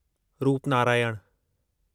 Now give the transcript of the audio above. Rupnarayan